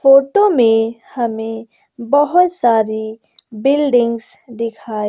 auto में हमें बहोत सारी बिल्डिंगस दिखाई--